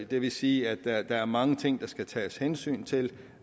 det vil sige at der er mange ting der skal tages hensyn til